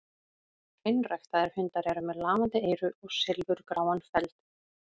Hreinræktaðir hundar eru með lafandi eyru og silfurgráan feld.